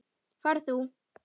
Far þú.